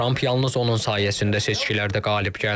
Tramp yalnız onun sayəsində seçkilərdə qalib gəldi.